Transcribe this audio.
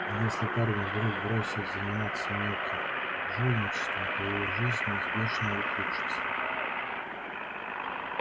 если парень вдруг бросит заниматься мелким жульничеством то его жизнь неизбежно ухудшится